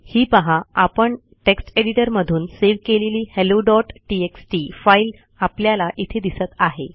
ही पाहा आपण text editor मधून सेव्ह केलेली helloटीएक्सटी फाईल आपल्याला इथे दिसत आहे